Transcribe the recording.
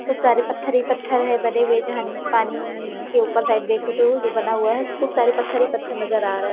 खूब सारे पत्थर ही पत्थर है बने हुए जहा पानी नीचे ऊपर साइड देखो तो जो बना हुआ है खूब सारे पत्थर ही पत्थर नजर आ र --